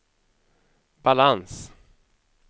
balans